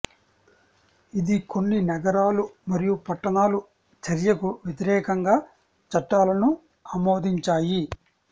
ఇది కొన్ని నగరాలు మరియు పట్టణాలు చర్యకు వ్యతిరేకంగా చట్టాలను ఆమోదించాయి